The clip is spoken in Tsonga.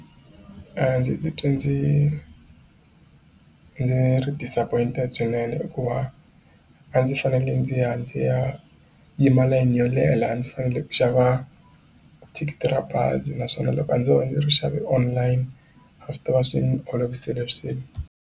A ndzi titwi ndzi ndzi ri disappointed swinene hikuva a ndzi fanele ndzi ya ndzi ya yima layini yo leha a ndzi fanele ku xava thikithi ra bazi naswona loko a ndzo va ndzi ri xave online a swi tava swi olovisele swilo.